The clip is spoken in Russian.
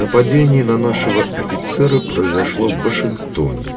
нападение на нашего офицера произошло в вашингтоне